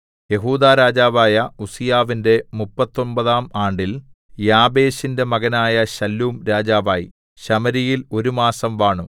യെഹൂദാ രാജാവായ ഉസ്സീയാവിന്റെ മുപ്പത്തൊമ്പതാം ആണ്ടിൽ യാബേശിന്റെ മകനായ ശല്ലൂം രാജാവായി ശമര്യയിൽ ഒരു മാസം വാണു